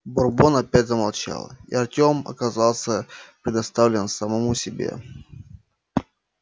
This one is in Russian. бурбон опять замолчал и артём оказался предоставлен самому себе